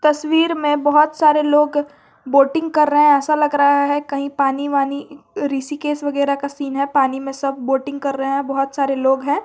तस्वीर में बहुत सारे लोग बोटिंग कर रहे हैं ऐसा लग रहा है कहीं पानी वानी ऋषिकेश वगैरा का सीन है पानी में सब वोटिंग कर रहे हैं बहुत सारे लोग हैं।